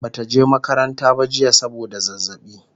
Bata je makaranta ba jiya saboda zazzaɓi